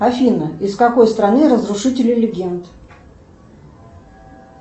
афина из какой страны разрушители легенд